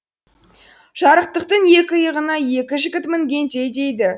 жарықтықтың екі иығына екі жігіт мінгендей дейді